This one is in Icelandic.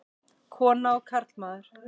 Kona og karlmaður.